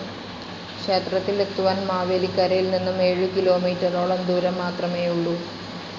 ക്ഷേത്രത്തിൽ എത്തുവാൻ മാവേലിക്കരയിൽ നിന്നും ഏഴുകിലോമീറ്ററോളം ദൂരംമാത്രമേയുള്ളു.